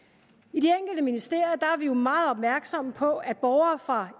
i ministerier er vi jo meget opmærksomme på at borgere fra